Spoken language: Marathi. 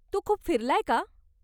तू खूप फिरलाय का?